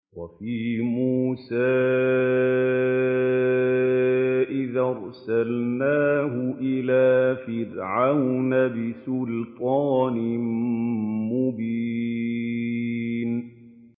وَفِي مُوسَىٰ إِذْ أَرْسَلْنَاهُ إِلَىٰ فِرْعَوْنَ بِسُلْطَانٍ مُّبِينٍ